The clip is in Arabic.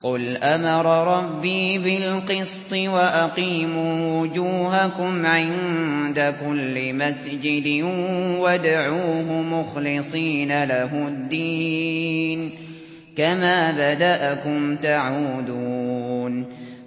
قُلْ أَمَرَ رَبِّي بِالْقِسْطِ ۖ وَأَقِيمُوا وُجُوهَكُمْ عِندَ كُلِّ مَسْجِدٍ وَادْعُوهُ مُخْلِصِينَ لَهُ الدِّينَ ۚ كَمَا بَدَأَكُمْ تَعُودُونَ